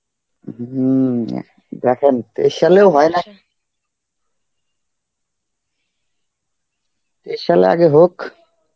হম দেখেন special এও হয় না Arbi আগে হোক